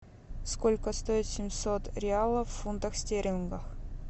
сколько стоит семьсот реалов в фунтах стерлингах